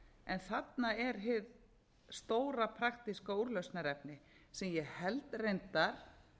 en þarna er hið stóra praktíska úrlausnarefni sem ég held reyndar